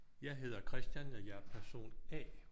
Jeg hedder Christian og jeg er person A